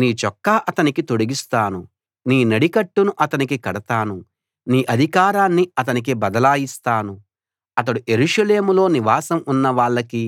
నీ చొక్కా అతనికి తొడిగిస్తాను నీ నడికట్టును అతనికి కడతాను నీ అధికారాన్ని అతనికి బదలాయిస్తాను అతడు యెరూషలేములో నివాసం ఉన్న వాళ్ళకీ